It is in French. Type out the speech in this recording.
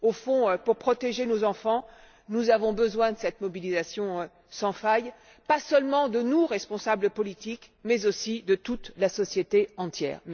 Au fond, pour protéger nos enfants, nous avons besoin de cette mobilisation sans faille, pas seulement de nos responsables politiques, mais aussi de la société tout entière.